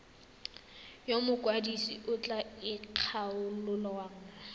yo mokwadise a tla ikgolaganyang